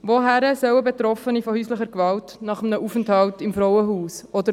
Wohin sollen Betroffene von häuslicher Gewalt nach einem Aufenthalt im Frauenhaus gehen?